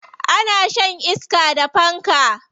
Ana shan iska da fanka.